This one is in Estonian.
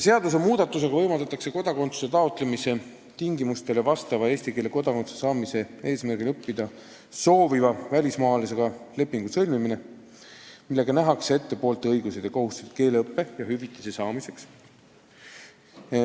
Seadusmuudatusega võimaldatakse kodakondsuse taotlemise tingimustele vastava välismaalasega, kes soovib õppida eesti keelt kodakondsuse saamise eesmärgil, sõlmida leping, millega nähakse ette poolte õigused ja kohustused keeleõppe ja hüvitise saamiseks.